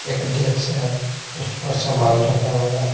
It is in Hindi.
एक डेक्स है उस पर सामान रखा हुआ है।